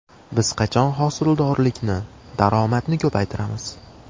Biz qachon hosildorlikni, daromadni ko‘paytiramiz?!